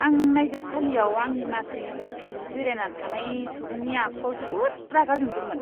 आं नायजाबसालियाव आंनि मासिनि उनथिं जिरायना थानाय सुबुंनि आखुआव जोबोद रागा जोंदोंमोन।